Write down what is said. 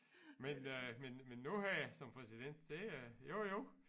Men øh men men nu her som præsident det er jo jo